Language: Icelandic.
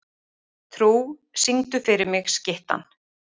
Trú, syngdu fyrir mig „Skyttan“.